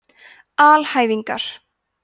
alhæfingar